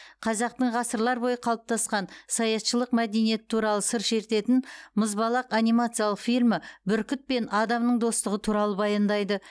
қазақтың ғасырлар бойы қалыптасқан саятшылық мәдениеті туралы сыр шертетін мұзбалақ анимациялық фильмі бүркіт пен адамның достығы туралы баяндайды